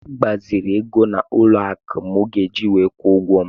Agbaziri ego n'ụlọ akụ mọọgeeji were kwụọ ụgwọ m.